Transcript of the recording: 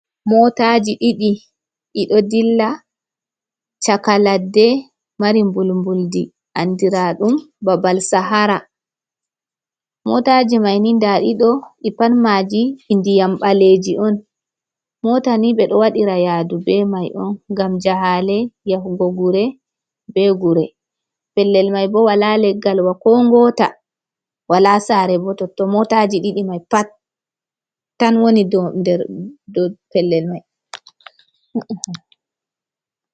Motaji ɗiɗi ɗiɗo ɗilla chaka laɗɗe, mari mbulmbulɗi, andiradum babal sahara. motaji maini ɗaaɗiɗo pat maji ndiyam baleji on. Motani be ɗo waɗira yadu be mai on ngam jahale yahugo gure be gure. Pellel mai bo wala leggal wa ko ngota wala sare bo. Totto motaji ɗiɗi mai pat tan woni ɗo der do pellel mai.